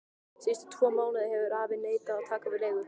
Síðustu tvo mánuði hefur afi neitað að taka við leigu.